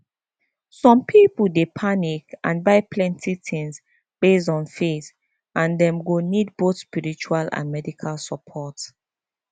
some people dey panic and buy plenty things based on faith and dem go need both spiritual and medical support